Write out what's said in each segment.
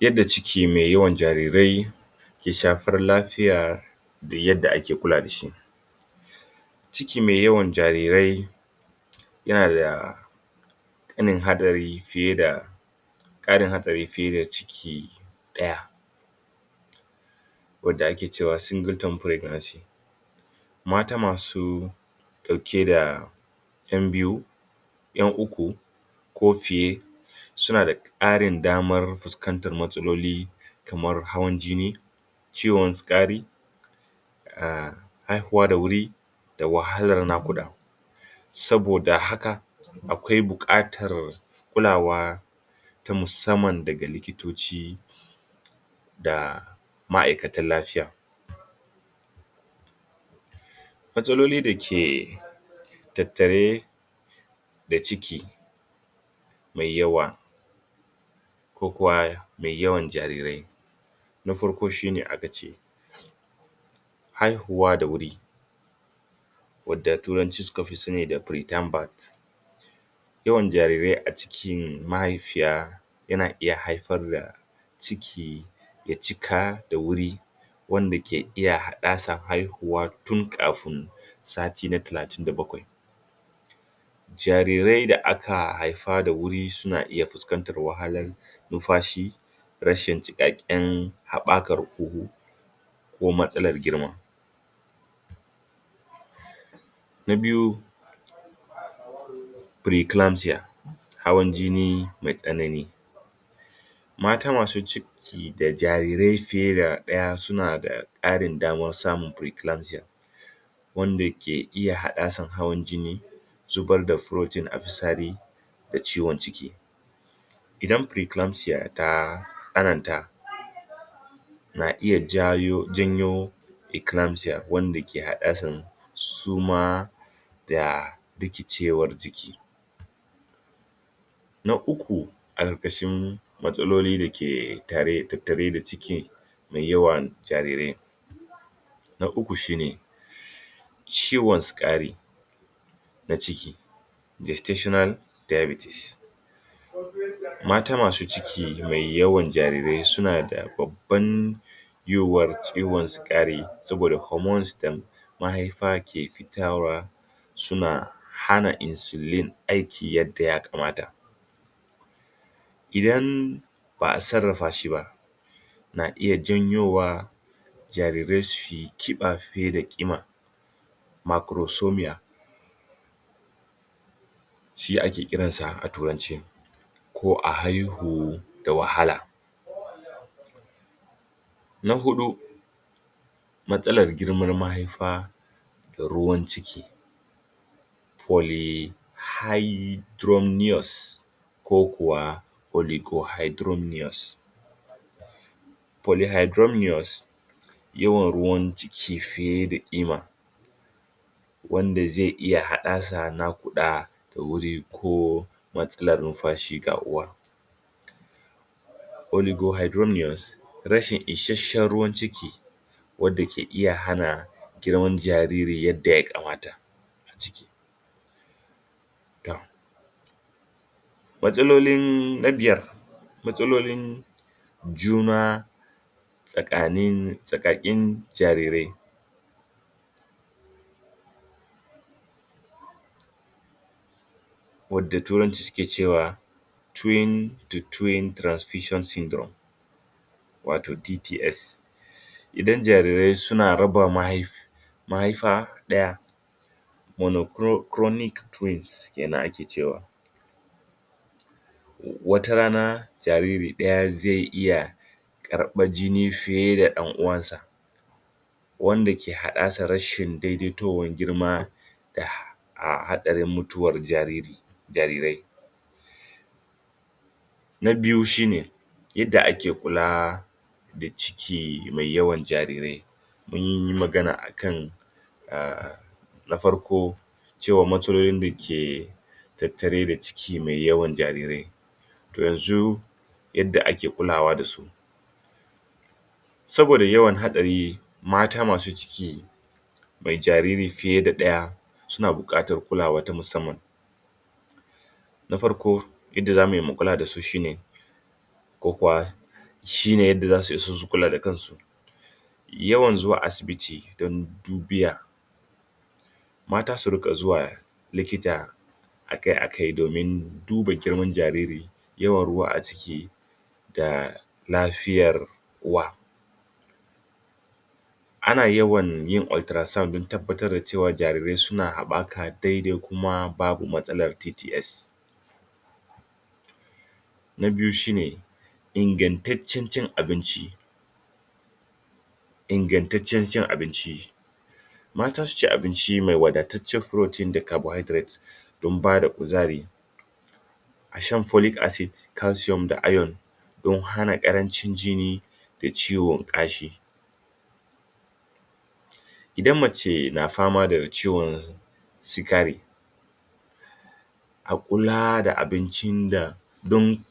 yadda ciki mai yawan jarirai ke shafar lafiya da yadda ake kula da shi ciki mai yawan jarirai yana da hadari fiye da tarin hadari fiye da ciki daya wadda ake cewa single term pregnancy mata masu dauke da yan biyu yan ukku ko fiye suna da karin damar fuskantar matsaloli kamar hawan jini ciwon sikari a haihuwa da wuri da wahalar nakuda saboda haka akwai bukatar kulawa ta musamman daga likitoci da ma'aikatan lafiya matsaloli dake tattare da ciki mai yawa ko kuwa mai yawan jarirai na farko shine akace haihuwa da wuri wadda turanci sukafi sani sa preterm birth yawan jarirai a cikin mahaifiya yana iya haifarda ciki ya cika da wuri wanda ke iya haddasa haifuwa tun kafin sati na talatin da bakwai jarirai da aka haifa da wuri suna iya fuskantar wahalar lumfashi rashin cikakken habakar huhu ko matsalar girma na biyu preeclampsia hawan jini mai tsanani mata masu ciki da jarirai fiye da daya suna karin damar samun preeclampsia wana ke iya haddasa hawan jini zubar da protein a fitsari da ciwon ciki idan preeclampsia ta tsananta na iya jayo janyo eclampsia wanda ke hada da suma da rikicewar jiki na ukku a karkashin matsaloli dake tattare da ciki mai yawan jarirai na ukku shine ciwon sikari na ciki distitional diabetes mata masu ciki mai yawan jarirai suna da babban yiwuwan ciwon sikari saboda hormones da mahaifa ke fitarwa suna hana insuline aiki yadda ya kamata idan ba'a sarrafa shi ba na iya janyowa jarirai suyi kiba fiye da kima macrosomia shi akekiran sa da turanci ko a haihu da wahala na hudu mastalar girman mahaifa da ruwan ciki polyhydromnious ko kuwa polygohydromnious polyhydromnious yawan ruwan ciki fiye da kima wanda zai iya haddasa nakuda da wuri ko matsalar lumfashi ga uwa polygohydromnious rashin isasshen ruwan ciki wanda ke iya hana girman jariri yanda ya kamata a ciki matsalolin na biyar matsalolin juna tsakanin jarirai wanda turanci suke cewa twin to twin transfution syndrum wato TTS idan jarirai suna raba mahaifa daya monocronic twins kenan ake cewa wata rana jariri daya zai iya karbar jini fiye da danuwan sa wanda ke haddasa rashin daidaituwan girma a hadarin mutuwar jariri jarirai na biyu shine yadda ake kula da ciki mai yawan jarirai munyi magana akan ah na farko cewa matsalolin dake tattare da ciki mai yawan jarirai to yanzu yadda ake kulawa da su saboda yawan hadari mata masu ciki mai jariri fiye da daya suna bukatan kulawa ta musamman na farko yadda zamuyi mu kula dasu shine ko kuwa shine yadda zasu kula da kansu yawan zuwa asibiti don dubiya mata su rika zuwa likita akai akai domin duba girman jaririn yawan ruwa a ciki da lafiyar uwa ana yawan yin ultra sound don tabbatar da cewa jarirai suna habaka dai dai kuma babu matsalar TTS na biyu shine ingantaccen cin abinci ingantaccen cin abinci mata suci abinci mai wadatacciyar protein da cabohydrate don bada kuzari a shan polic acid calsium da iron don hana karancin jini da ciwo gashi idan mace na fama da ciwon sikari a kula da abincin da don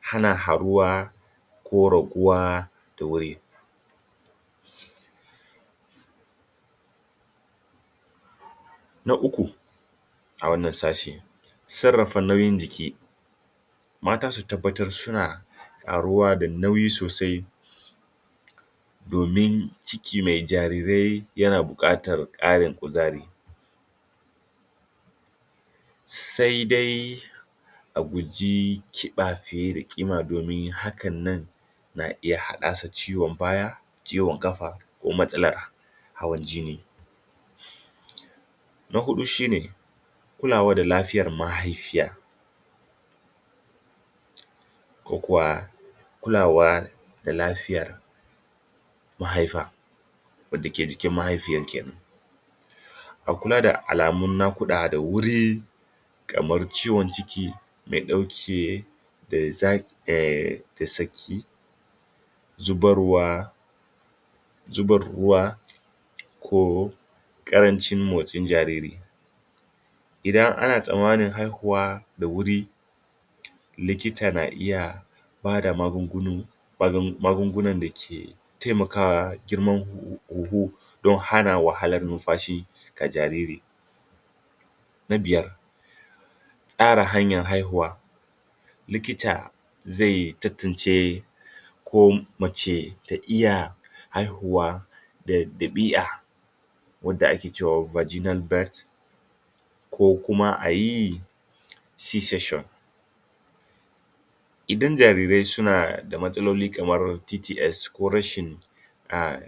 hana karuwa ko raguwa da wuri na ukku a wannan sashe sarrafa nauyin jiki mata su tabbatar da suna karuwa da nauyi sosai domin ciki mai jarirai yana bukatar karin kuzari sai dai kiba fiye da kima domin hakan na iya haddasa ciwon baya ciwon kafa ko matsalar hawan jini na hudu shine kulawa da lafiyar mahaifiya ko kuwa kula da lafiyar mahaifa wadda ke jikin mahaifiyar kenan a kula da alamun nakuda da wuri kamar ciwon ciki mai dauke da zafi zubar ruwa zubar ruwa ko karancin motsin jariri idan ana tsammanin haihuwa da wuri likita na iya bada magunguna magungunan dake taimakwa girman huhu don hana wahalar lumfashi ga jariri na biyar tsara hanyan haihuwa likita zai tattance ko mace ta iya haihuwa da dabi'a wadda ake cema viginal birth ko kuma ayi SI session idan jarirai suna da matsaloli kamar TTS ko rashin ah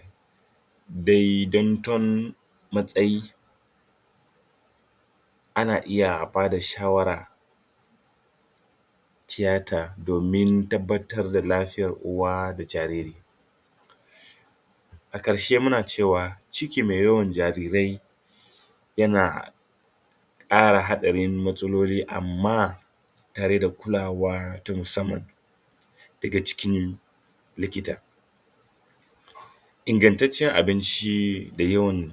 dai daiton matsayi ana iya bada shawara tiyata domin tabbatar da lafiyar uwa da jariri a karshe muna cewa ciki mai yawan jarirai yana kara hadarin matsaloli amma tare da kulawa ta musamman daga jikin likita ingantaccen abinci da yawan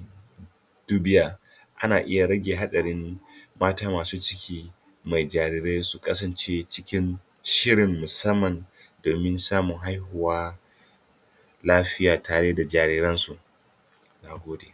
dubiya ana iya rage hadarin mata masu ciki mai jarirai su kasance cikin shirin musamman domin samun haihuwa lafiya tare da jariran su na gode